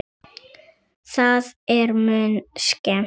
Það er mun skemmti